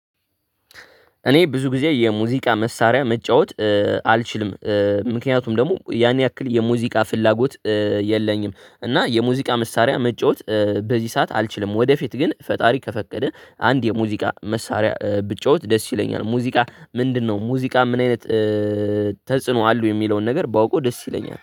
እኔ ብዙ ጊዜ የሙዚቃ መሳሪያ መጫወት አልችልም። ምክንያቱም ደግሞ ያን ያክል የሙዚቃ ፍላጎት የለኝም እና የሙዚቃ መሳሪያ መጫወት በዚህ ሰዓት አልችልም። ወደፊት ግን ፈጣሪ ከፈቀደ አንድ የሙዚቃ መሳሪያ ብጫወት ደስ ይለኛል። ሙዚቃ ምንድነው ሙዚቃ ምን አይነት? ተጽኖ አለው የሚለውን ነገር ባውቀው ደስ ይለኛል